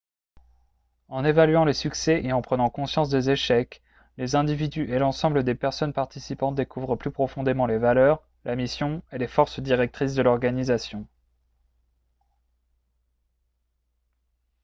en évaluant les succès et en prenant conscience des échecs les individus et l'ensemble des personnes participantes découvrent plus profondément les valeurs la mission et les forces directrices de l'organisation